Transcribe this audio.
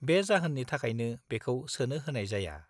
-बे जाहोननि थाखायनो बेखौ सोनो होनाय जाया।